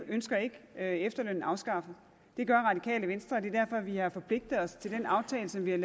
ønsker ikke efterlønnen afskaffet det gør radikale venstre og det er derfor vi har forpligtet os til den aftale som vi har